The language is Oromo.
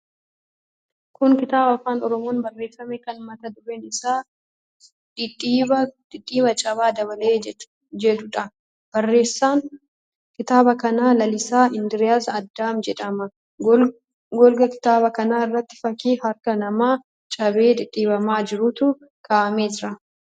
Kun kitaaba afaan Oromoon barreeffame kan mata dureen isaa "Dhidhiibbaa Caba Dabale" jedhuudha. Barreessaan kitaaba kanaa Lalisaa Indiriis Adam jedhama. Golgaa kitaaba kanaa irratti fakkii harka namaa cabee dhidhiibamaa jiruutu kaa'amee jira.